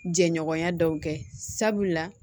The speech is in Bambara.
Jɛɲɔgɔnya dɔw kɛ sabula